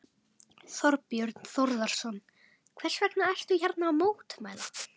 Þorbjörn Þórðarson: Hvers vegna ertu hérna að mótmæla?